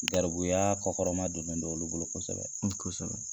Gɛribuyaa kɔ kɔrɔmadonnen don olu bolo kosɛbɛ. Kosɛbɛ.